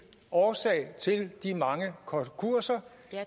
årsag til de mange konkurser